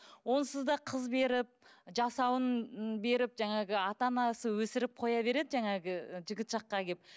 онсыз да қыз беріп жасауын беріп жаңағы ата анасы өсіріп қоя береді жаңағы жігіт жаққа келіп